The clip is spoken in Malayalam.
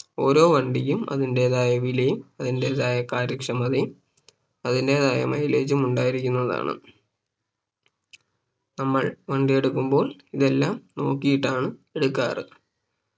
ഓരോ വണ്ടിക്കും അതിന്റെതായ വിലയും അതിന്റെതായ കാര്യക്ഷമതയും അതിന്റെതായ Mileage ഉം ഉണ്ടായിരിക്കുന്നതാണ് നമ്മൾ വണ്ടി എടുക്കുമ്പോൾ ഇതെല്ലാം നോക്കീട്ടാണ് എടുക്കാറ്